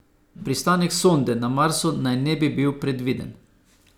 Pristanek sonde na Marsu naj ne bi bil predviden.